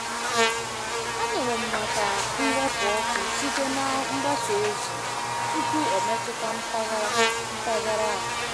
Anụrụ m maka mwepu ọkụ site na mgbasa ozi tupu ọ metụta mpaghara mpaghara anyị.